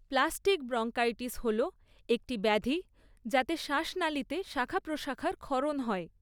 Plastic bronchitis হল একটি ব্যাধি যাতে শ্বাসনালীতে শাখা প্রশাখার ক্ষরণ হয়।